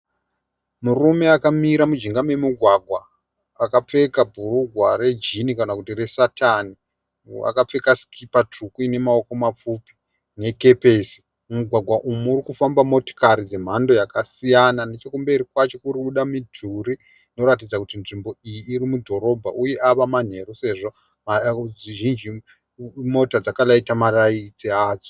Murume akamira mujinga memugwagwa .Akapfeka bhurugwa rejini kana kuti resatani ,akapfeka sikipa tsvuku ine maoko mapfupi nekepesi. Mumugwagwa umu muri kufamba motokari dzemhando yakasiyana nechekumberi kwacho kuri kubuda mudhuri inoratidza kuti nzvimbo iyi iri mudhorobha uye ava manheru sezvo mota zhinji dzakarayita marayiti adzo .